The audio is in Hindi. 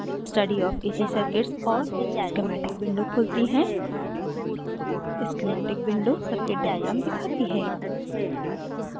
study of ac circuits और schematic windows खुलती हैं schematic windows circuits diagram दिखाती है